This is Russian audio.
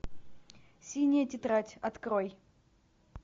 синяя тетрадь открой